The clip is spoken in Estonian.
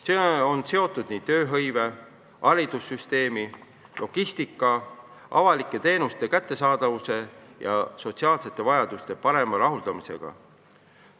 See on seotud tööhõive, haridussüsteemi ja logistikaga, samuti avalike teenuste kättesaadavuse ja sotsiaalsete vajaduste parema rahuldamisega.